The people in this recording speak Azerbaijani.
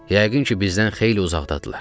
Yəqin ki, bizdən xeyli uzaqdadırlar.